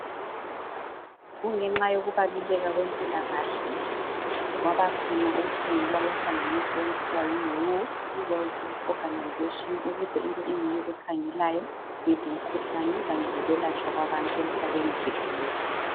Kungenxa yokubaluleka kwempilakahle kwabakhona ukusungulwa kwenhlanganiso okuthiwa yi who world health organization ukuze ibe yiyo ekhangela ngezemikhuhlane kanye lokwelatshwa kwabantu emhlabeni jikelele.